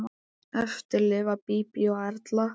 Eftir lifa Bíbí og Erla.